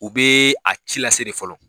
U bɛ a ci lase de fɔlɔ.